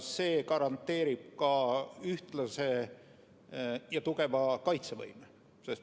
See garanteerib ka ühtlase ja tugeva kaitsevõime.